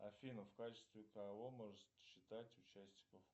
афина в качестве кого можно считать участников